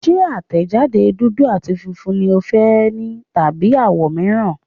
Ṣé àtẹ̀jáde dúdú àti funfun ni o fẹ́ ni tàbí àwọ̀ mìíràn.